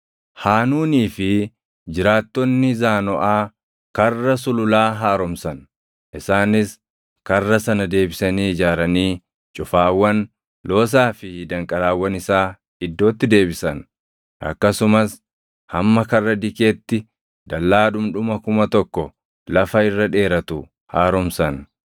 Haanuunii fi jiraattonni Zaanoʼaa Karra Sululaa haaromsan. Isaanis karra sana deebisanii ijaaranii cufaawwan, loosaa fi danqaraawwan isaa iddootti deebisan. Akkasumas hamma Karra Dikeetti dallaa dhundhuma kuma tokko lafa irra dheeratu haaromsan.